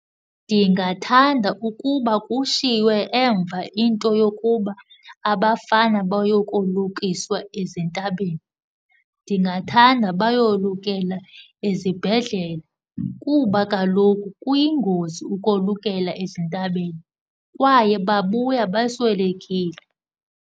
Ndingathanda ukuba kushiywe emva into yokuba abafana bayokolukiswa ezintabeni. Ndingathanda bayolukela ezibhedlele kuba kaloku kuyingozi ukolukela ezintabeni kwaye babuya beswelekile.